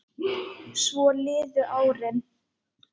Svo liðu árin.